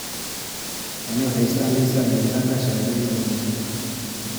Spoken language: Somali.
Tani waxay sahlaysaa helitaanka shahaadooyinka dhimashada.